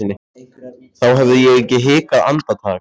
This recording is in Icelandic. þá hefði ég ekki hikað andartak.